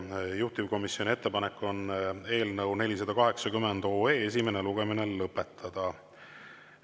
Juhtivkomisjoni ettepanek on eelnõu 480 esimene lugemine lõpetada.